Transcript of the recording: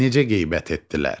Necə qeybət etdilər?